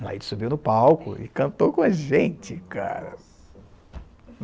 A Laíde subiu no palco e cantou com a gente, cara.